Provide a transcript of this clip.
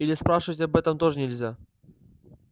или спрашивать об этом тоже нельзя